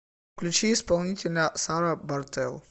включи исполнителя сара бартел